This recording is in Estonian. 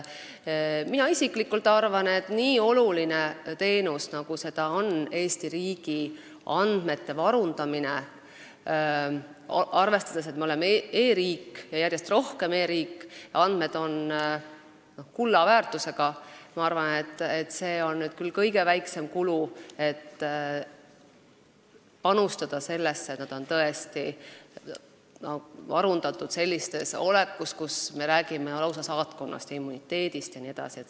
Mina isiklikult arvan, et kui me räägime nii olulisest teenusest, nagu seda on Eesti riigi andmete varundamine, arvestades, et me oleme e-riik ja järjest rohkem e-riik ning andmed on kulla väärtusega, siis see on küll kõige väiksem kulu, kui panustada sellesse, et andmed oleksid varundatud sellises olekus, et me räägime lausa saatkonnast, immuniteedist jne.